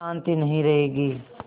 शान्ति नहीं रहेगी